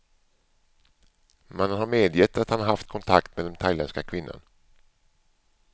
Mannen har medgett att han haft kontakt med den thailändska kvinnan.